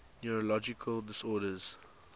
neurological disorders